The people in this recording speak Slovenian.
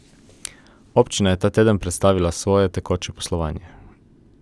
Občina je ta teden predstavila svoje tekoče poslovanje.